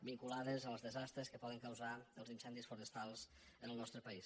vinculades als desastres que poden causar els incendis forestals en el nostre país